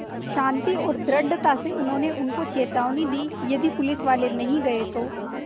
शान्ति और दृढ़ता से उन्होंने उनको चेतावनी दी यदि पुलिसवाले नहीं गए तो